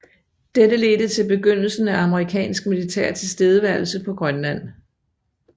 Dette ledte til begyndelsen af amerikansk militær tilstedeværelse på Grønland